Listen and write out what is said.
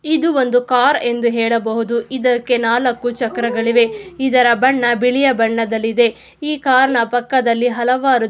ಇದು ಒಂದು ಕಾರ್ ಎಂದು ಹೇಳಬಹುದು. ಇದಕ್ಕೆ ನಾಲಕ್ಕು ಚಕ್ರಗಳಿವೆ ಇದರ ಬಣ್ಣ ಬಿಳಿಯ ಬಣ್ಣದಲ್ಲಿ ಇ.ದೆ ಈ ಕಾರ್ ನ ಪಕ್ಕದಲ್ಲಿ ಹಲವಾರು--